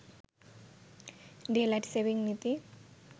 daylight saving নীতি